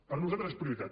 per nosaltres és prioritat